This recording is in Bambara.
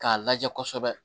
K'a lajɛ kɔsɛbɛ